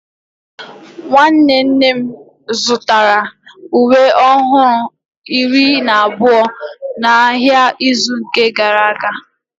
nwanne nne m zụtara uwe ọhụrụ iri na abụọ n'ahịa n'izu gara aga